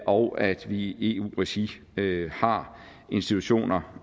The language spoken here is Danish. og at vi i eu regi har institutioner